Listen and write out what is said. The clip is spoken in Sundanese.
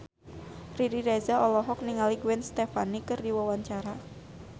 Riri Reza olohok ningali Gwen Stefani keur diwawancara